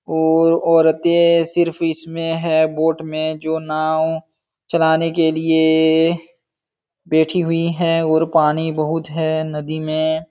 और औरते सिर्फ इसमें हैं बोट में जो नाँव चलाने के लिए बैठी हुई हैं और पानी बहुत है नदी में।